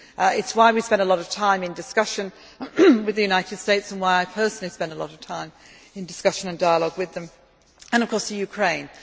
do. It is why we spend a lot of time in discussion with the United States and why I personally spend a lot of time in discussion and dialogue with them and, of course, Ukraine.